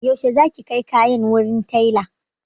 Yaushe za ki kai kayan wurin taila?